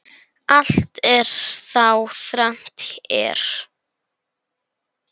Allt er þá þrennt er.